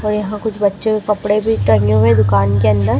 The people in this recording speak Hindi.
और यहां कुछ बच्चों के कपड़े भी टंगे हुए हैं दुकान के अंदर।